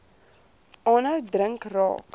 aanhou drink raak